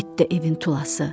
it də evin tulası.